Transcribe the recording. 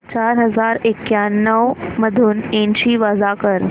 चार हजार एक्याण्णव मधून ऐंशी वजा कर